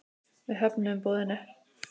Við höfnuðum boðinu.